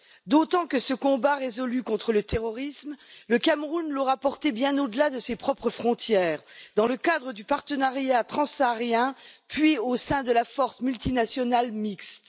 Dd'autant que ce combat résolu contre le terrorisme, le Cameroun l'aura porté bien au delà de ses propres frontières, dans le cadre du partenariat transsaharien, puis au sein de la force multinationale mixte.